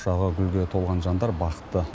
құшағы гүлге толған жандар бақытты